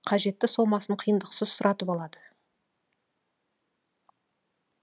қажетті сомасын қиындықсыз сұратып алады